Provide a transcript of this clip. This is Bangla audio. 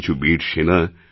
কিছু বীর সেনা